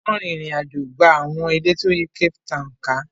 Wọ́n rin ìrìn àjò gba àwọn ilẹ̀ tí ó yí Cape Town ká.